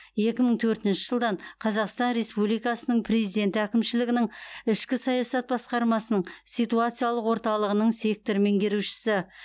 екі мың төртінші жылдан қазақстан республикасы президенті әкімшілігінің ішкі саясат басқармасының ситуациялық орталығының сектор меңгерушісі